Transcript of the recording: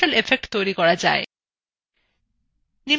নিম্নলিখিত link এ উপলব্ধ video দেখুন